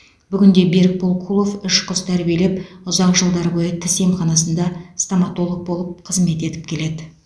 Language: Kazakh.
бүгінде берікбол кулов үш қыз тәрбиелеп ұзақ жылдар бойы тіс емханасында стоматолог болып қызмет етіп келеді